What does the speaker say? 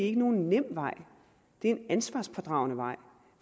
er nogen nem vej det er en ansvarspådragende vej